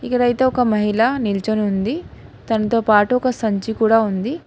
ఇక్కడ అయితే ఒక మహిళ నిల్చునే ఉంది తనతో పాటు ఒక సంచి కూడా ఉంది.